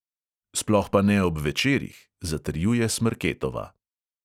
"Sploh pa ne ob večerih," zatrjuje smrketova.